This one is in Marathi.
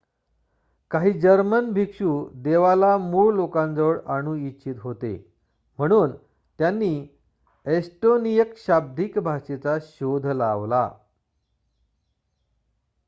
काही जर्मन भिक्षू देवाला मूळ लोकांजवळ आणू इच्छित होते म्हणून त्यांनी एस्टोनियन शाब्दिक भाषेचा शोध लावला